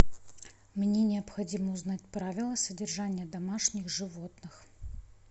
мне необходимо узнать правила содержания домашних животных